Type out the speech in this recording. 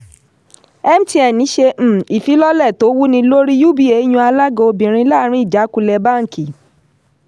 mtn ṣe um ìfilọ́lẹ̀ tó wúnilórí uba yan alága obìnrin láàrin ìjákulẹ̀ báńkì.